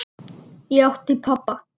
Ég átti pabba.